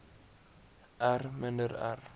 r minder r